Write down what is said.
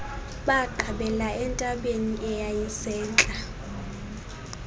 baqabela entabeni eyayisentla